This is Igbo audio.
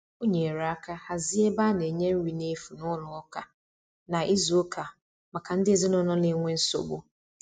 o nyere aka hazie ebe ana nye nri na efụ n'ụlọ ụka na izu uka maka ndi ezinulo n'enwe nsogbu